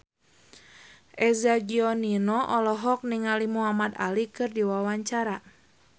Eza Gionino olohok ningali Muhamad Ali keur diwawancara